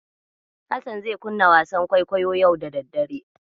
Hassan zai kunna wasan kwaikwayo yau da daddare.